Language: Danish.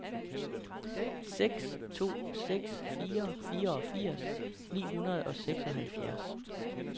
seks to seks fire fireogfirs ni hundrede og seksoghalvfjerds